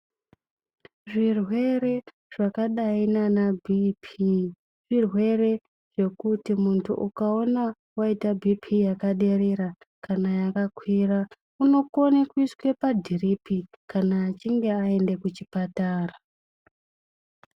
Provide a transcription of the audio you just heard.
Zvirwere zvakadai nana Bhiipi zvirwere zvekuti muntu ukaona waite Bhiipii yakaderera kana yakakwira unokone kuiswa padhiripi kana achinge aenda kuchipatara.